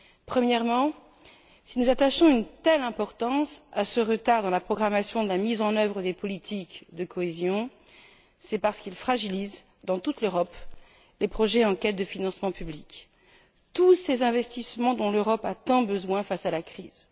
Premièrement, si nous attachons une telle importance à ce retard dans la programmation de la mise en œuvre des politiques de cohésion, c'est parce qu'il fragilise dans toute l'Europe les projets en quête de financement public, tous ces investissements dont l'Europe a tant besoin face à la crise.